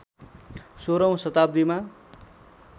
१६ औँ शताब्दीमा